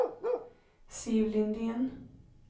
Siv Lindén